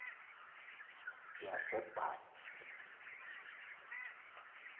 yasebhayi